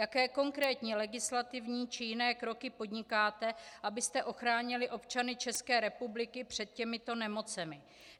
Jaké konkrétní legislativní či jiné kroky podnikáte, abyste ochránili občany České republiky před těmito nemocemi?